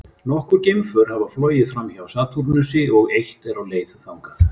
Nokkur geimför hafa flogið framhjá Satúrnusi og eitt er á leið þangað.